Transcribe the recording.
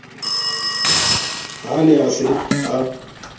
ha a ne a se